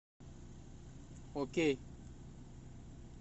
окей